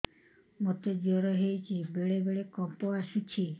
ମୋତେ ଜ୍ୱର ହେଇଚି ବେଳେ ବେଳେ କମ୍ପ ଆସୁଛି